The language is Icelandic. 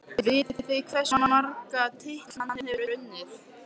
Vitið þið hversu marga titla hann hefur unnið?